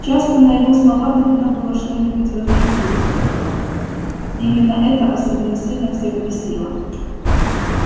часто на его слова трудно было что-нибудь возразить и именно это особенно сильно всех бесило